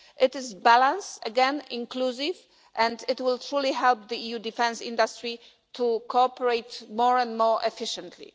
It is balanced, inclusive again, and it will truly help the EU defence industry to cooperate more and more efficiently.